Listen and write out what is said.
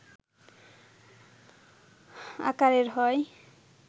আকারের হয়